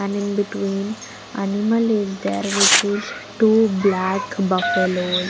And in between animal is there which is two black buffaloes.